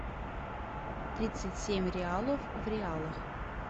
тридцать семь реалов в реалах